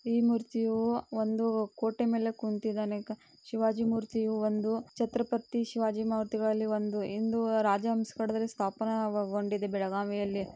ಈ ಮೂರ್ತಿಯೂ ಒಂದು ಕೋಟೆ ಮೇಲೆ ಕೂನ್ತಿದಾನೆ. ಶಿವಾಜಿ ಮುರ್ತಿಯು ಒಂದು ಛತ್ರಪತಿ ಶಿವಾಜಿ ಮಾತೆವಾಲಿ ಒಂದು. ಇಂದು ರಾಜಹಂಸ ಗಡದಲ್ಲಿ ಸ್ಥಾಪನಾಗೊ-ಗೊಂಡಿದೆ ಬೆಳಗಾವಿಯಲ್ಲಿ.